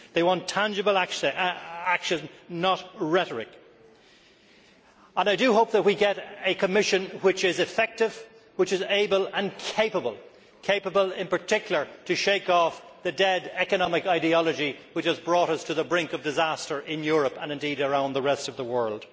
They want tangible action, not rhetoric. I do hope that we get a Commission which is effective, which is able, and capable, in particular, of shaking off the dead economic ideology which has brought us to the brink of disaster in Europe and, indeed, around the rest of the world.